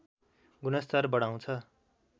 गुणस्तर बढाउँछ